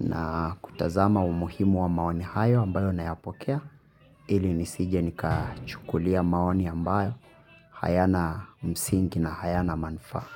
na kutazama umuhimu wa maoni hayo ambayo nayapokea ili nisije nikachukulia maoni ambayo hayana msingi na hayana manfaa.